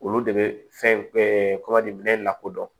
Olu de bɛ fɛn minɛ lakodɔn